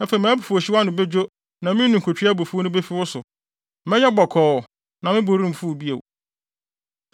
Afei mʼabufuwhyew ano bedwo na me ninkutwe abufuw no befi wo so. Mɛyɛ bɔkɔɔ na me bo remfuw bio.